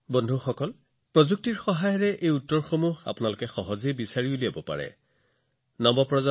বন্ধুসকল প্ৰযুক্তিৰ এই যুগত আপোনালোকৰ বাবে ইয়াৰ উত্তৰ বিচাৰি উলিওৱাটো অতি সহজ হব